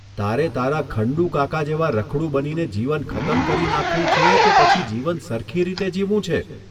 તારે તારા ખંડુકાકા જેવા રખડુ બનીને જીવન ખતમ કરી નાંખવુ છે કે પછી જીવન સરખી રીતે જીવવું છે?